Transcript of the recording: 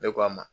Ne k'a ma